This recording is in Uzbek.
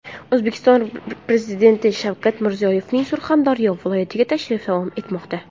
O‘zbekiston Prezidenti Shavkat Mirziyoyevning Surxondaryo viloyatiga tashrifi davom etmoqda.